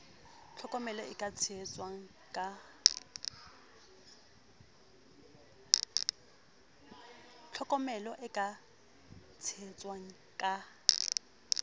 tlhokomela e ka tshehetswang ka